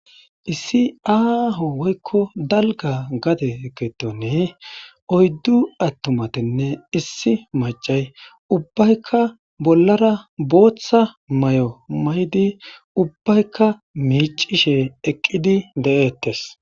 Issi aho woykko dalgga gadde giddon oyddu attumaynne issi maccay ubbaykka bollara booththa maayo mayidi ubbaykka miccishe eqqidi de'ettes.